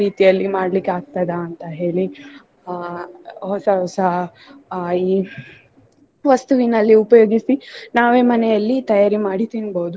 ರೀತಿಯಲ್ಲಿ ಮಾಡ್ಲಿಕ್ಕಾಗ್ತದ ಅಂತ ಹೇಳಿ ಅಹ್ ಹೊಸ ಹೊಸ ಅಹ್ ಈ ವಸ್ತುವಿನಲ್ಲಿ ಉಪಯೋಗಿಸಿ ನಾವೇ ಮನೆಯಲ್ಲಿ ತಯಾರಿ ಮಾಡಿ ತಿನ್ಬೋದು.